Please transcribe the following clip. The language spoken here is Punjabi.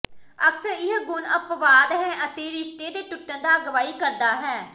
ਅਕਸਰ ਇਹ ਗੁਣ ਅਪਵਾਦ ਹੈ ਅਤੇ ਰਿਸ਼ਤੇ ਦੇ ਟੁੱਟਣ ਦਾ ਅਗਵਾਈ ਕਰਦਾ ਹੈ